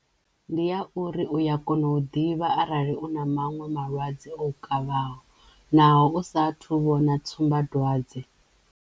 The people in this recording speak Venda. Ndi ya uri uya kona u ḓivha arali u na maṅwe malwadze o u kavhaho naho u sa thu vhona tsumbadwadze.